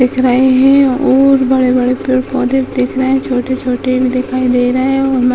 दिख रहे हैं और बड़े बड़े पेड़ पौधे दिख रहे हैं | छोटे छोटे भी दिखाई दे रही है और --